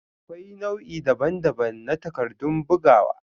Akwai nau'i daban-daban na takardun bugawa.